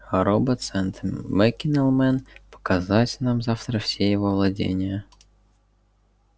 роботс энд мекэникел мэн показать нам завтра все его владения